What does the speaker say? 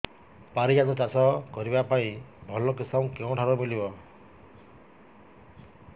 ପାରିଜାତ ଚାଷ କରିବା ପାଇଁ ଭଲ କିଶମ କେଉଁଠାରୁ ମିଳିବ